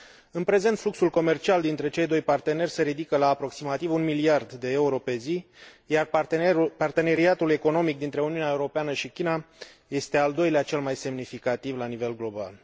În prezent, fluxul comercial dintre cei doi parteneri se ridică la aproximativ un miliard de euro pe zi, iar parteneriatul economic dintre Uniunea Europeană și China este al doilea cel mai semnificativ la nivel global.